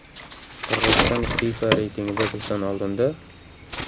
Qirg‘iziston FIFA reytingida bizdan oldinda?